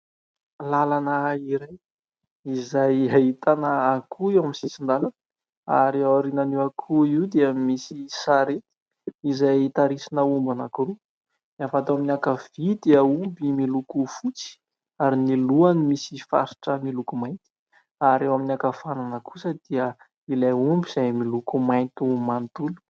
Lalana iray izay ahitana akoho eo amin'ny sisin-dalana ary ao aoriana io akoho io dia misy sarety izay tarisina omby anankiroa : ny avy ato amin'ny ankavia dia omby miloko fotsy ary ny lohany misy faritra miloko mainty ary eo amin'ny ankavanana kosa dia ilay omby izay miloko mainty manontolo.